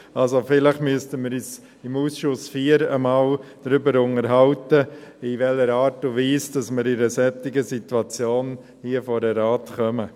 Also: Vielleicht müssten wir uns im Ausschuss IV einmal darüber unterhalten, in welcher Art und Weise wir in einer solchen Situation hier vor den Rat kommen.